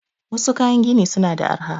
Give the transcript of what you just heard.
Wassu kayan gini suna da arha